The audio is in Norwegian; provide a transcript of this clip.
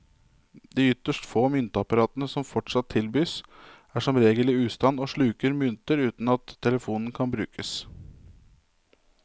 De ytterst få myntapparatene som fortsatt tilbys, er som regel i ustand og sluker mynter uten at telefonen kan brukes.